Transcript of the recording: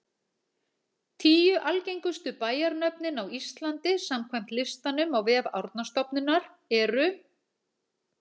Tíu algengustu bæjarnöfnin á Íslandi samkvæmt listanum á vef Árnastofnunar eru: